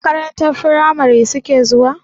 Makarantar firamari suke zuwa?